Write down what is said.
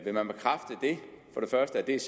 det er